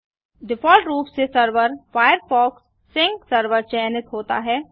default रूप से server Firefox sync server चयनित होता है